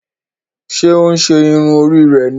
Ṣe o n ṣe irun Orí rẹ ní?